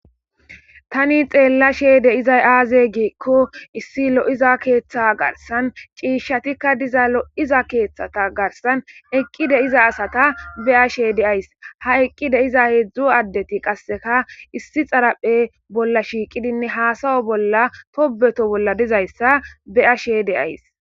tani xeella sheede izay aaze giikko issi lo7iza keeththa garsan ciishatikka diza lo7iza keeththata garsan eqqide iza asata be ashe de ays ha eqqide iza heedzdzu addeti qasseka issi xaraphe bolla shiiqidinne haasawo bolla tobeto bolla dizayssa beashede ays